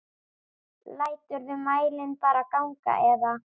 Læturðu mælinn bara ganga eða?